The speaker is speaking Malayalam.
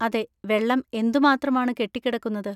അതെ, വെള്ളം എന്തുമാത്രമാണ് കെട്ടിക്കിടക്കുന്നത്.